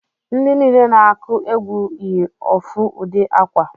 Ndi niile na-aku egwu yi ofu udi akwa